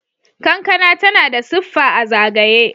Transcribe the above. kankana tana da siffa a zagaye